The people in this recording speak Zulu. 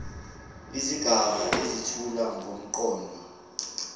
izigaba ezethula ngomqondo